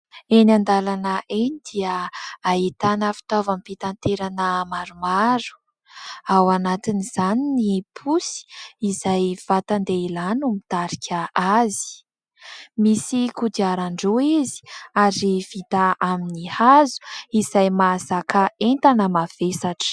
Eny an-dalana eny dia ahitana fitaovam-pitaterana maromaro. Ao anatiny izany ny posy izay vatan-dehilahy no mitarika azy. Misy kodiaran-droa izy ary vita amin'ny hazo izay mahazaka entana mavesatra.